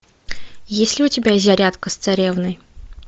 есть ли у тебя зарядка с царевной